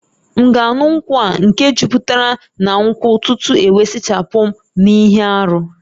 M'gāṅu nkwu a nke juputara na nkwu tutu ewe sachapum n'ihe-árú?